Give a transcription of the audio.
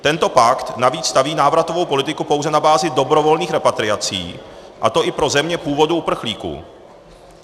Tento pakt navíc staví návratovou politiku pouze na bázi dobrovolných repatriací, a to i pro země původu uprchlíků.